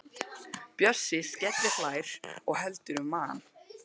Bjössi skellihlær og heldur um magann.